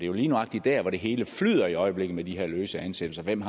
jo lige nøjagtig dr hvor det hele flyder i øjeblikket med de her løse ansættelser hvem